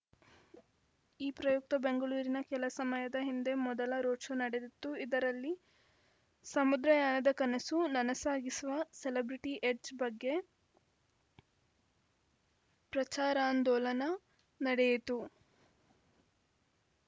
ಈ ಪ್ರಯುಕ್ತ ಬೆಂಗಳೂರಿನ ಕೆಲ ಸಮಯದ ಹಿಂದೆ ಮೊದಲ ರೋಡ್‌ಶೋ ನಡೆದಿತ್ತು ಇದರಲ್ಲಿ ಸಮುದ್ರಯಾನದ ಕನಸು ನನಸಾಗಿಸುವ ಸೆಲೆಬ್ರಿಟಿ ಎಡ್ಜ್‌ ಬಗ್ಗೆ ಪ್ರಚಾರಾಂದೋಲನ ನಡೆಯಿತು